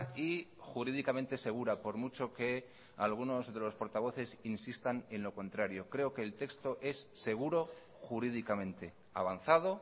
y jurídicamente segura por mucho que algunos de los portavoces insistan en lo contrario creo que el texto es seguro jurídicamente avanzado